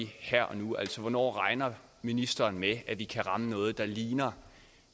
her og nu hvornår regner ministeren med at vi kan ramme noget der ligner